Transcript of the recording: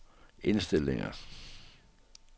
indstillinger